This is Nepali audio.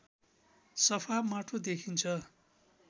सफा माटो देखिन्छ